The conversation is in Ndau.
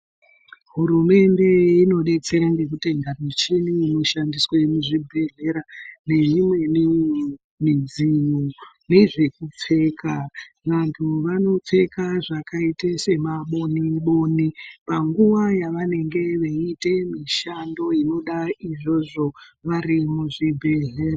Hurumende inodetsera ngekutenga michini inoshande muzvibhedhlera neyo imweni midziyo nezvemupfeka. Vantu vanopfeka zvakaita semaboni boni panguva yavanenge veiita mushando inoda izvozvo vari muzvibhedhlera.